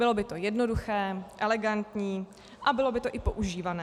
Bylo by to jednoduché, elegantní a bylo by to i používané.